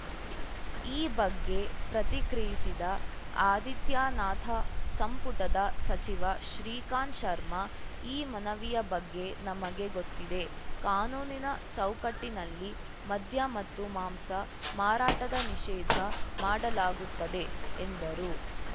ಈ ಬಗ್ಗೆ ಪ್ರತಿಕ್ರಿಯಿಸಿದ ಆದಿತ್ಯನಾಥ ಸಂಪುಟದ ಸಚಿವ ಶ್ರೀಕಾಂತ್‌ ಶರ್ಮಾ ಈ ಮನವಿಯ ಬಗ್ಗೆ ನಮಗೆ ಗೊತ್ತಿದೆ ಕಾನೂನಿನ ಚೌಕಟ್ಟಿನಲ್ಲಿ ಮದ್ಯ ಮತ್ತು ಮಾಂಸ ಮಾರಾಟದ ನಿಷೇಧ ಮಾಡಲಾಗುತ್ತದೆ ಎಂದರು